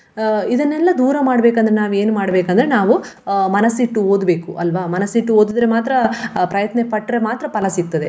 ಅಹ್ ಇದನ್ನೆಲ್ಲಾ ದೂರ ಮಾಡ್ಬೇಕಂದ್ರೆ ನಾವು ಏನ್ ಮಾಡ್ಬೇಕಂದ್ರೆ ನಾವು ಅಹ್ ಮನಸಿಟ್ಟು ಓದಬೇಕು ಅಲ್ವ ಮನಸಿಟ್ಟು ಓದಿದರೆ ಮಾತ್ರ ಆ ಪ್ರಯತ್ನಪಟ್ರೆ ಮಾತ್ರ ಫಲ ಸಿಕ್ತದೆ.